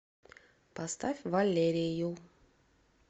поставь валерию